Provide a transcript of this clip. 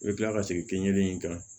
I bɛ kila ka segin kɛ i kan